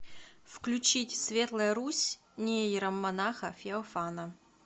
включить светлая русь нейромонаха феофана